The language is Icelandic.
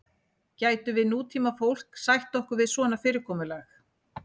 gætum við nútímafólk sætt okkur við svona fyrirkomulag